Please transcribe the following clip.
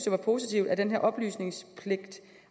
var positivt at den her oplysningspligt